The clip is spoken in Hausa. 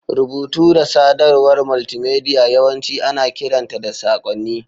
Rubutu da sadarwar multimedia yawanci ana kiranta da saƙonni.